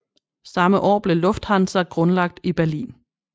Samme år blev Lufthansa grundlagt i Berlin